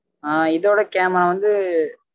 ஹா இதோட camera வந்து